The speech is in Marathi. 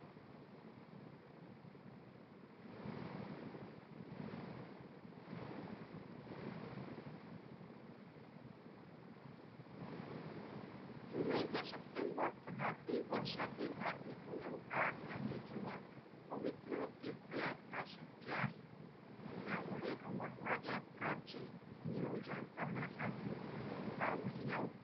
जुलै ते सप्टेंबर तथापि वर्षातील हा एकमेव काळ आहे जेव्हा पवित्र तीर्थयात्रा शक्य आहे. त्यामुळे अमरनाथ यात्राचे नियोजन करण्यासाठी हा महिना